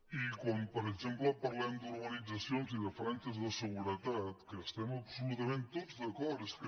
i quan per exemple parlem d’urbanitzacions i de franges de seguretat que hi estem absolutament tots d’acord és que